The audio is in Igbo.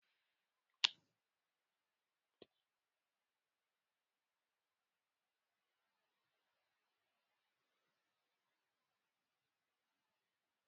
A na-eme alụmdi na nwunye na nkwenye nke nne na nna abụọ ahụ.